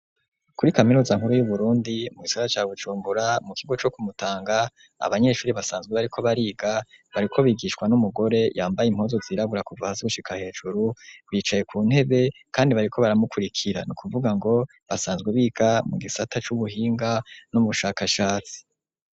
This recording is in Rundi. kuri kaminuza nkuru y'uburundi mu gisagara ca Bucumbura mu kigo co Kumutanga abanyeshuri basanzwe bariko bariga bariko bigishwa n'umugore yambaye impozu zirabura kuva hasi gushika hejuru bicaye ku ntebe kandi bariko baramukurikira nukuvuga ngo basanzwe biga mu gisata c'ubuhinga no mu bushakashatsi.